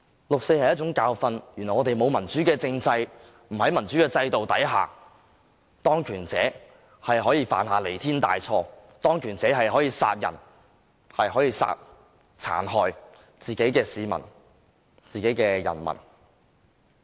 六四是一種教訓，原來我們沒有民主的政制，在沒有民主的制度下，當權者可以犯下彌天大錯，可以殺人，可以殘害自己的人民。